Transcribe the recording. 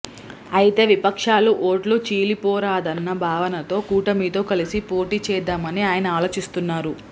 అయితే విపక్షాల ఓట్లు చీలిపోరాదన్న భావనతో కూటమితో కలిసి పోటీ చేద్ధామని ఆయన ఆలోచిస్తున్నారు